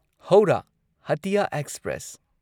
Howrah Hatia express